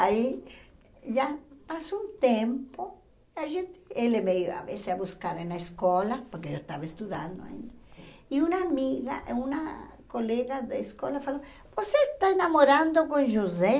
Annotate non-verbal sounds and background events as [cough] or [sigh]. Aí, já passou um tempo, a gente ele veio a [unintelligible] a buscar na escola, porque eu estava estudando ainda, e uma amiga, e uma colega da escola falou, você está namorando com José?